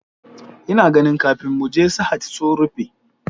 Ina ganin kafin muje Sahad sun rufe